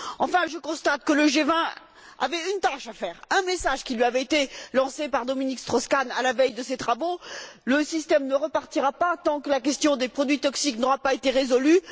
Enfin, je constate que le G20 avait une tâche à exécuter, un message qui lui avait été lancé par Dominique Strauss Kahn à la veille de ses travaux Le système ne repartira pas tant que la question des produits toxiques n'aura pas été résolue.